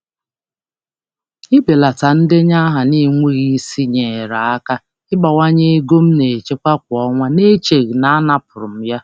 Ịbelata ndenye aha na-adịghị mkpa enyerela m aka ịbawanye nchekwa m kwa ọnwa na-enweghị mmetụta nke enweghị ihe.